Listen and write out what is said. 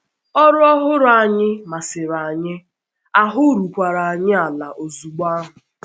Ọrụ ọhụrụ anyị um masịrị anyị, um ahụ́ rukwara um anyị ala ozugbo ahụ.